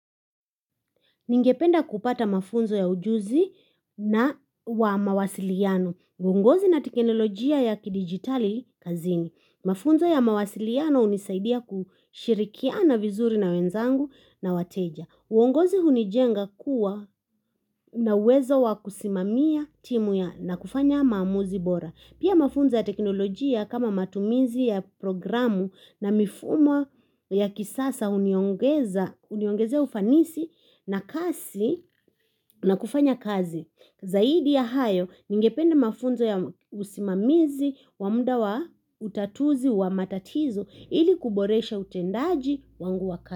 Ningependa kupata mafunzo ya ujuzi na wa mawasiliano. Uongozi na teknolojia ya ki-digitali kazini. Mafunzo ya mawasiliano unisaidia kushirikina vizuri na wenzangu na wateja. Uongozi hunijenga kuwa na uwezo wa kusimamia timu ya na kufanya mamuzi bora. Pia mafunza ya teknolojia kama matumizi ya programu na mifumo ya kisasa uniongeza ufanisi na kasi na kufanya kazi. Zaidi ya hayo ningependa mafunza ya usimamizi wa mda wa utatuzi wa matatizo ili kuboresha utendaji wangu wa kazi.